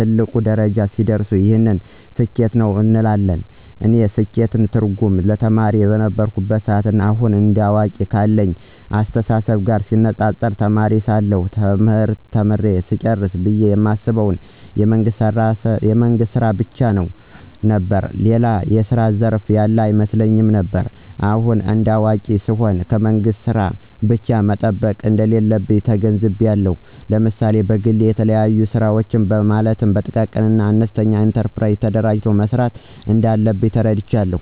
ትልቅ ደረጃ ሲደርስ ይህ ስኬታማ ነው እንላለን። የእኔ ስኬት ትርጉም ተማሪ ከነበርኩበት ና አሁን እንደ አዋቂ ካለኝ አስተሳሰብ ጋር ሲነፃፀር ተማሪ ሳለሁ ትምህርት ተምሬ ስጨርስ ብየ የማስበው የመንግስት ስራ ብቻ ነው ብየ ነበር። ሌላ የስራ ዘርፍ ያለ አይመስለኝም ነበር። አሁን እንደ አዋቂ ስሆን ከመንግስት ስራ ብቻ መጠበቅ እንደሌለብኝ ተገንዝቤአለሁ። ለምሳሌ በግሌ የተለያዩ ስራወችን ማለትም በጥቃቅንና አነስተኛ ኢንተርፕራይዞች ተደራጅቶ መስራት እንዳለብኝ ተረድቻለሁ።